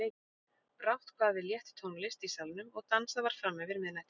Brátt kvað við létt tónlist í salnum og dansað var fram yfir miðnætti.